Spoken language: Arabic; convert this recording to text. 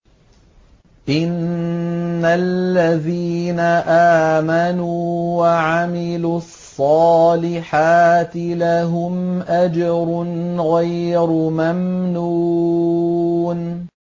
إِنَّ الَّذِينَ آمَنُوا وَعَمِلُوا الصَّالِحَاتِ لَهُمْ أَجْرٌ غَيْرُ مَمْنُونٍ